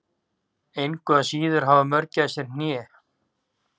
Engu að síður hafa mörgæsir hné.